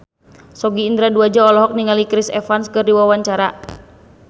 Sogi Indra Duaja olohok ningali Chris Evans keur diwawancara